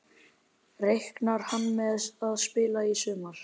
Reiknar hann með að spila í sumar?